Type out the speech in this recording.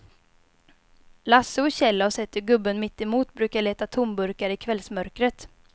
Lasse och Kjell har sett hur gubben mittemot brukar leta tomburkar i kvällsmörkret.